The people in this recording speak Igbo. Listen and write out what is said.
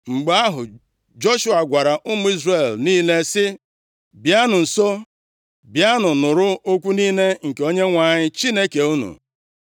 Mgbe ahụ, Joshua gwara ụmụ Izrel niile sị, “Bịanụ nso, bịanụ nụrụ okwu niile nke Onyenwe anyị Chineke unu.